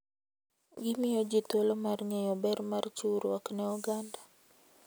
Gimiyo ji thuolo mar ng'eyo ber mar chiwruok ne oganda.